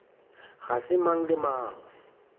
ga se mang le mang